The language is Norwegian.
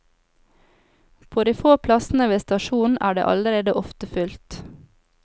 På de få plassene ved stasjonen er det allerede ofte fullt.